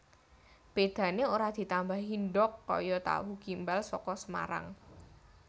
Bedane ora ditambahi ndhog kaya tahu gimbal saka Semarang